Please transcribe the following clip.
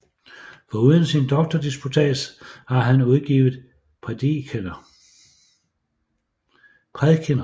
Foruden sin doktordisputats har han kun udgivet prædikener